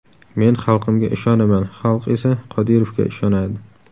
Men xalqimga ishonaman, xalq esa Qodirovga ishonadi.